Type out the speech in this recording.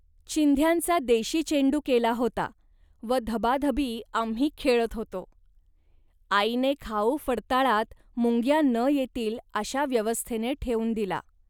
चिंध्यांचा देशी चेंडू केला होता व धबाधबी आम्ही खेळत होतो. आईने खाऊ फडताळात, मुंग्या न येतील, अशा व्यवस्थेने ठेवून दिला